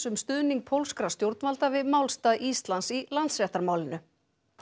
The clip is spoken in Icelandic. um stuðning pólskra stjórnvalda við málstað Íslands í Landsréttarmálinu